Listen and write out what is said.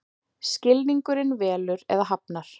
Skilningurinn velur eða hafnar.